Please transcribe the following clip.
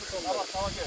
Hamısını.